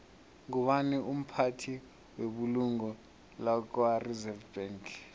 ngubani umphathi webulungo lakwareserve bank